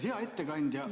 Hea ettekandja!